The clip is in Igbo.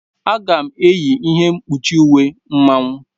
Aga m -eyi ihe mkpuchi uwe Mmanwu.